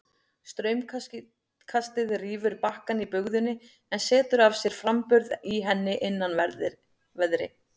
Straumkastið rýfur bakkann í bugðunni en setur af sér framburð í henni innanverðri.